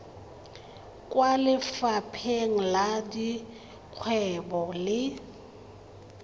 kwa lefapheng la dikgwebo le